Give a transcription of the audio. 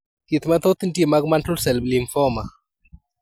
Thieth mathoth nitie mag Mantle cell lymphoma